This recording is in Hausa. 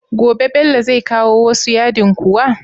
Gobe Bello zai kawo wasu yadin kuwa?